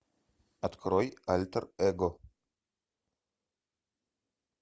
открой альтер эго